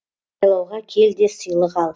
сайлауға кел де сыйлық ал